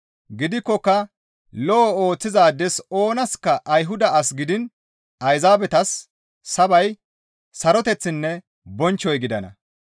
Gidikkoka lo7o ooththizaades oonaska Ayhuda asas gidiin Ayzaabetas sabay, saroteththinne bonchchoy gidana.